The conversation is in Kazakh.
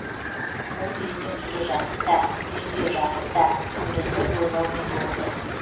ол үйіне келе жатып та үйінде жатып та құндызды ойлаумен болды